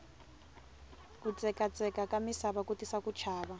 kutsekatsekaka misava ku tisa ku chava